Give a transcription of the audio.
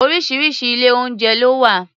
Oríṣiríṣi ilé-oúnjẹ ló wà